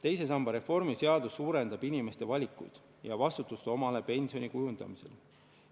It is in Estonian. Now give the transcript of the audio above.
Teise samba reformi seadus suurendab inimeste valikuid ja vastutust omale pensioni kujundamisel.